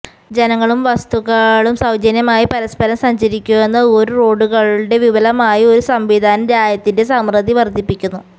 ജനങ്ങളും വസ്തുക്കളും സൌജന്യമായി പരസ്പരം സഞ്ചരിക്കുന്ന ഒരു റോഡുകളുടെ വിപുലമായ ഒരു സംവിധാനം രാജ്യത്തിന്റെ സമൃദ്ധി വർധിപ്പിക്കുന്നു